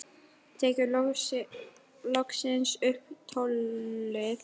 Tekur loksins upp tólið.